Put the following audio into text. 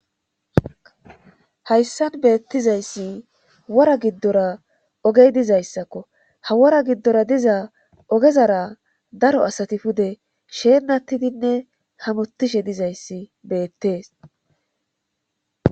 Hayssan beettizayssi wora giddora ogey dizayssakko ha wora giddora diza ogezara daro asati pude sheenattidinne hamuttishe dizayssi beettees.